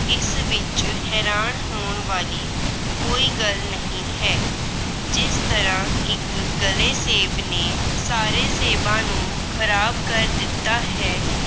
ਇਸ ਵਿੱਚ ਹੈਰਾਨ ਹੋਣ ਵਾਲੀ ਕੋਈ ਗੱਲ ਨਹੀਂ ਹੈ। ਜਿਸ ਤਰ੍ਹਾਂ ਇੱਕ ਗਲੇ ਸੇਬ ਨੇ ਸਾਰੇ ਸੇਬਾਂ ਨੂੰ ਖਰਾਬ ਕਰ ਦਿੱਤਾ ਹੈ।